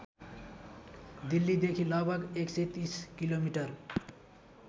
दिल्लीदेखि लगभग १३० किलोमिटर